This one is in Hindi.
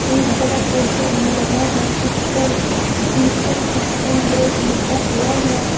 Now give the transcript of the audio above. एक बड़ा पोस्टर भी लगा है जिस पर दीपक स्कूल ड्रेस लिखा हुआ है।